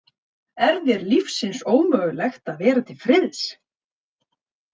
Er þér lífsins ómögulegt að vera til friðs?